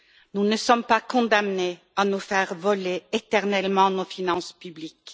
Nous ne sommes pas condamnés à nous faire voler éternellement nos finances publiques.